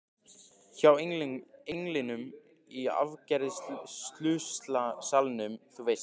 Hjá englinum í afgreiðslusalnum, þú veist.